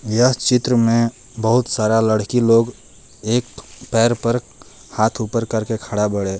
यह चित्र में बहुत सारा लड़की लोग एक पैर पर हाथ ऊपर करके खड़ा बाड़े।